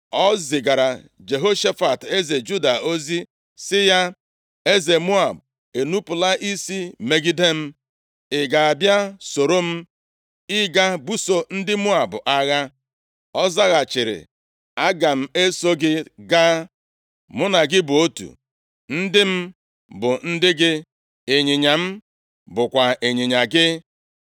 O zigara Jehoshafat eze Juda ozi sị ya, “Eze Moab enupula isi megide m. Ị ga-abịa soro m ịga buso ndị Moab agha?” Ọ zaghachiri, “Aga m eso gị gaa. Mụ na gị bụ otu, ndị m bụ ndị gị, ịnyịnya m bụkwa ịnyịnya gị.”